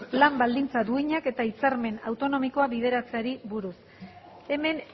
lan baldintza duinak eta hitzarmen autonomikoa bideratzeari buruz hemen